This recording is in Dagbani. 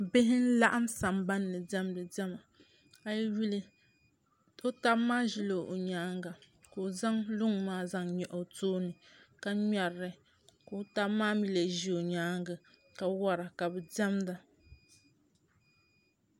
bihi n-laɣim sambanni diɛmdi diɛma a yi yuli o taba maa ʒila o nyaanga ka o zaŋ luŋ maa zaŋ nyaɣi o tooni ka ŋmeri li ka o taba maa mii lee ʒi o nyaanga ka wara ka bɛ diɛmda